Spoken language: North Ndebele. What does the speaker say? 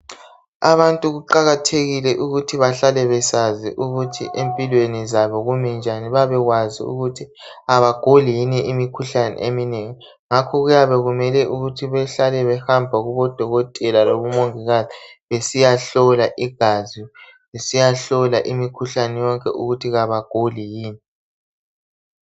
Abantu kuqakathekile ukuthi bahlale besazi ukuthi empilweni zabo kumi njani babekwazi ukuthi abaguli yini imikhuhlane eminengi ngakho kuyabe kumele ukuthi behlale bahamba kubodokotela lakubomongikazi besiyahlola igazi besiyahlola imikhuhlane yonke ukuthi abaguli yini.